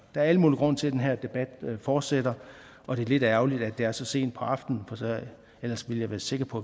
er al mulig grund til at den her debat fortsætter og det er lidt ærgerligt at det er sent på aftenen ellers er jeg sikker på